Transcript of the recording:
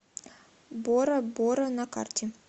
бора бора на карте